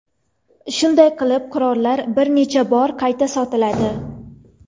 Shunday qilib qurollar bir necha bor qayta sotiladi.